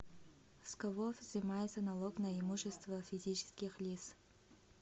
с кого взимается налог на имущество физических лиц